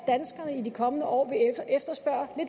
danskerne i de kommende år